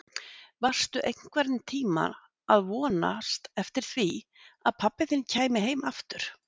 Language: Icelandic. Varstu einhvern tíma að vonast eftir því að pabbi þinn kæmi heim aftur?